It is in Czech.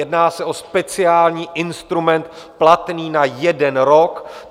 Jedná se o speciální instrument platný na jeden rok.